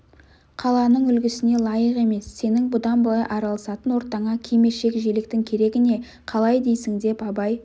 қаланың үлгісіне лайық емес сенің бұдан былай араласатын ортаңа кимешек-желектің керегі не қалай дейсің деп абай